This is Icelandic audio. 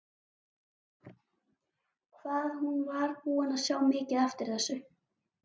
Hvað hún var búin að sjá mikið eftir þessu!